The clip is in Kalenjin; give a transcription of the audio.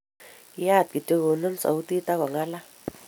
Kiyaat kityo, konemu sautit agongalal